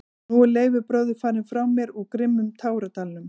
Og nú er Leifur bróðir farinn frá mér úr grimmum táradalnum.